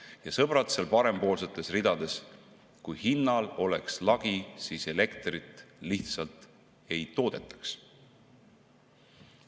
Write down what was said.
Jah, sõbrad seal parempoolsetes ridades: kui hinnal oleks lagi, siis elektrit lihtsalt ei toodetaks.